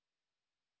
2